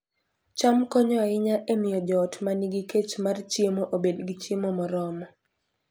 cham konyo ahinya e miyo joot ma nigi kech mar chiemo obed gi chiemo moromo